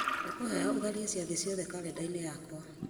ngũkwĩhoya ũtharie ciathĩ ciothe karenda-inĩ yakwa